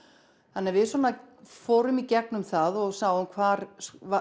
þannig að við fórum í gegnum það og sáum hvar